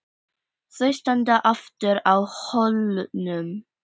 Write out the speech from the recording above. Þau standa aftur á hólnum.